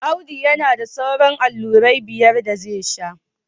Audu yana da sauran allurai biyar da zai sha